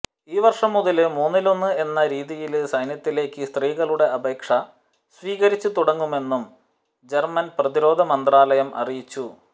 ഈ വര്ഷം മുതല് മൂന്നിലൊന്ന് എന്ന രീതിയില് സൈന്യത്തിലേക്ക് സ്ത്രീകളുടെ അപേക്ഷ സ്വീകരിച്ച് തുടങ്ങുമെന്നും ജര്മന് പ്രതിരോധ മന്ത്രാലയം അറിയിച്ചു